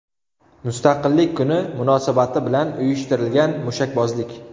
Mustaqillik kuni munosabati bilan uyushtirilgan mushakbozlik.